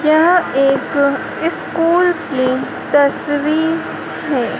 यह एक स्कूल की तस्वीर है।